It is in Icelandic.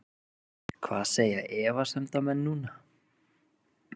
Hvað segja efasemdarmenn núna??